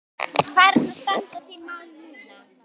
Hvernig standa þín mál núna?